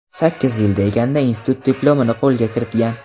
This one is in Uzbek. Sakkiz yil deganda, institut diplomini qo‘lga kiritgan.